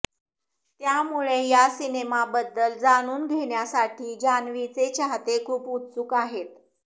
त्यामुळे या सिनेमाबद्दल जाणून घेण्यासाठी जान्हवीचे चाहते खूप उत्सुक आहेत